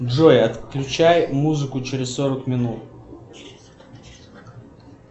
джой отключай музыку через сорок минут